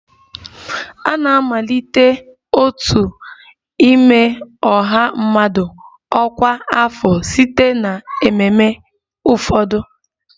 A na-amalite otu n'ime ọha mmadụ ọkwa afọ site na ememe ụfọdụ